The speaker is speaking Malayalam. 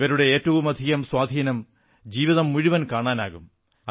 ഇവരുടെ ഏറ്റവുമധികം സ്വാധീനം ജീവിതം മുഴുവൻ കാണാനാകും